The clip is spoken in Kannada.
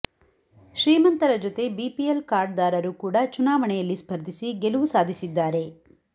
ಶ್ರೀಮಂತರ ಜೊತೆ ಬಿಪಿಎಲ್ ಕಾರ್ಡ್ ದಾರರು ಕೂಡ ಚುನಾವಣೆಯಲ್ಲಿ ಸ್ಪರ್ಧಿಸಿ ಗೆಲುವು ಸಾಧಿಸಿದ್ದಾರೆ